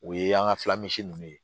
O ye an ka nunnu ye